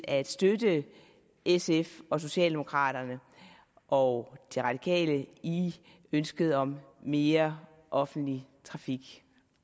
at støtte sf og socialdemokraterne og de radikale i ønsket om mere offentlig trafik